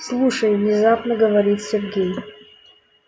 слушай внезапно говорит сергей